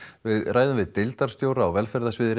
við ræðum við deildarstjóra á velferðarsviði